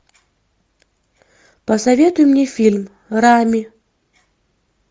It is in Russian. посоветуй мне фильм рами